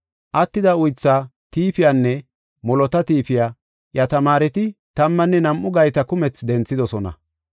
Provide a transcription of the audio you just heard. Attida uytha tiifiyanne molota tiifiya, iya tamaareti tammanne nam7u gayta kumethi denthidosona.